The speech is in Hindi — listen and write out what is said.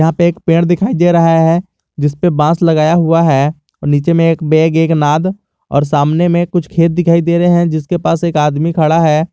एक पेड़ दिखाई दे रहा है जिसपे बॉस लगा हुआ है और नीचे में एक बैग एक नाद और सामने में कुछ खेत दिखाई दे रहे है जिसके पास एक आदमी खड़ा है।